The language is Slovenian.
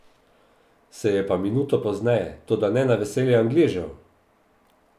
Se je pa minuto pozneje, toda ne na veselje Angležev!